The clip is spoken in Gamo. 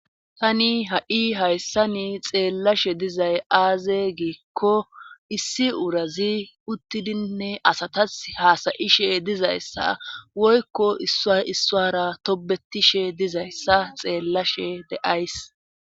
Tani ha7i hayssa ni xeellashe dizay aaze giikko issi urazi uttidinne asatas haasayishe dizayssa woykko i issuara tobetishe dizayssa xeellashe deays.